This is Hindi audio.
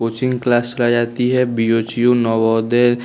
कोचिंग क्लास चला जाती है बी_ओ_जी_यू नवोदय --